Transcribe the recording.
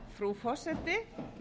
frú forseti